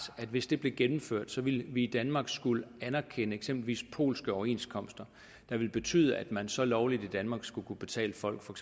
at hvis det blev gennemført ville vi i danmark skulle anerkende eksempelvis polske overenskomster der ville betyde at man så lovligt i danmark skulle kunne betale folk for